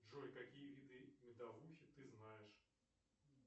джой какие виды медовухи ты знаешь